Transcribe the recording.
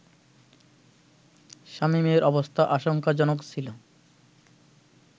শামীমের অবস্থা আশংকাজনক ছিলো